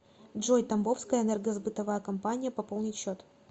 джой тамбовская энергосбытовая компания пополнить счет